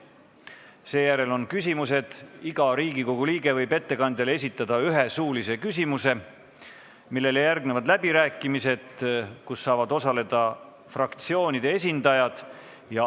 Seejärel on küsimused – iga Riigikogu liige võib ettekandjale esitada ühe suulise küsimuse –, millele järgnevad läbirääkimised, kus saavad osaleda fraktsioonide esindajad.